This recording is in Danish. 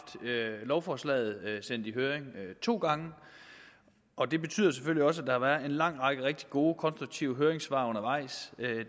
lovforslaget sendt i høring to gange og det betyder selvfølgelig også at der er kommet en lang række rigtig gode og konstruktive høringssvar undervejs